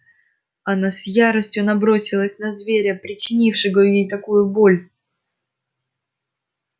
она с яростью набросилась на зверя причинившего ей такую боль